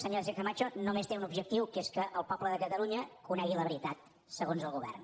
senyora sánchezcama cho només té un objectiu que és que el poble de catalunya conegui la veritat segons el govern